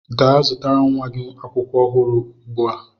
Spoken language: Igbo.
Gaa zụtara nwa gị akwụkwọ ọhụrụ ugbu a!